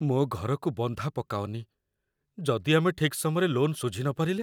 ମୋ ଘରକୁ ବନ୍ଧା ପକାଅନି । ଯଦି ଆମେ ଠିକ୍ ସମୟରେ ଲୋନ୍ ଶୁଝିନପାରିଲେ?